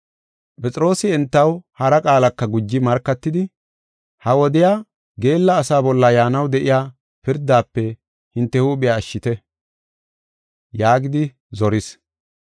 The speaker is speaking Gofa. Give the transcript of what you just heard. Phexroosi entaw hara qaalaka guji markatidi, “Ha wodiya geella asaa bolla yaanaw de7iya pirdafe hinte huuphiya ashshite” yaagidi zoris.